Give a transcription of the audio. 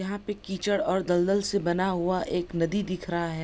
यहाँ पे कीचड़ और दल-दल से बना हुआ एक नदी दिख रहा है।